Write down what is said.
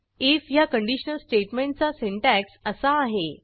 if ह्या conditional स्टेटमेंटचा syntax असा आहे